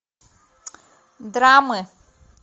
драмы